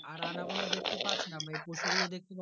আর আমরা